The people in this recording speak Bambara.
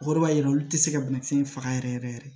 O yɔrɔ b'a yira olu tɛ se ka banakisɛ in faga yɛrɛ yɛrɛ yɛrɛ